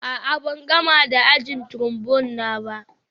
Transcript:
A'a, ban gama da ajin Trombone na ba